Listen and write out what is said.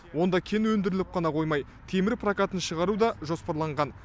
онда кен өндіріліп қана қоймай темір прокатын шығару да жоспарланған